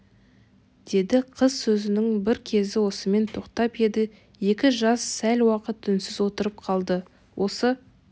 деді қыз сөзінің бір кезі осымен тоқтап еді екі жас сәл уақыт үнсіз отырып қалды осы